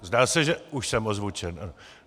Zdá se, že už jsem ozvučen.